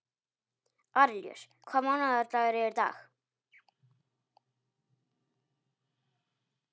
Arilíus, hvaða mánaðardagur er í dag?